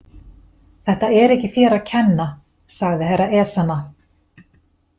Þetta er ekki þér að kenna, sagði Herra Ezana.